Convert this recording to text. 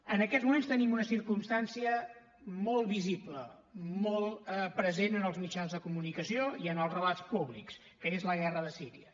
en aquests moments tenim una circumstància molt visible molt present en els mitjans de comunicació i en els relats públics que és la guerra de síria